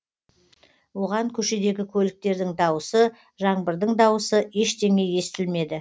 оған көшедегі көліктердің дауысы жаңбырдың дауысы ештеңе естілмеді